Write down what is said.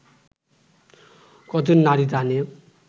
ক’জন নারী জানে